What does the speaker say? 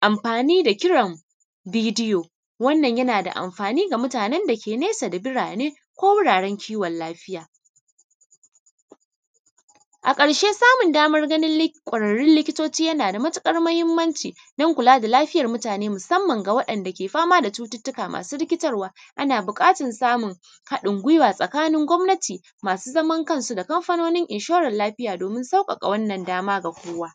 amfani da kiran raidiyo wannan yanada amfani ga mutanen dake nesa da birane, ko wuraren kiwon lafiya. a karshe samun daman ganin kwararrun likitoci yanada matuƙar mahimmanci dan kulada lafiyar mutane musamman ga wa’yan’da ke fama da cututtuka masu rikitarwa ana buƙatan samun haɗin guiwa tsakanin gwamnati masu zaman kansu da kamfanonin inshore lafiya domin sauƙaƙa wanna dama ga kowa.